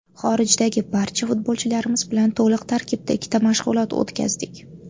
Xorijdagi barcha futbolchilarimiz bilan to‘liq tarkibda ikkita mashg‘ulot o‘tkazdik.